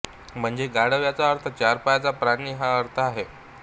म्हणजे गाढव याचा अर्थ चार पायाचा प्राणी हा अर्थ आहे